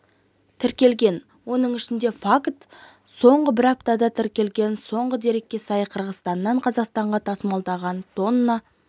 тіркелген оның ішінде факт соңғы бір аптада тіркелген соңғы дерекке сай қырғызстаннан қазақстанға тасымалданған тонна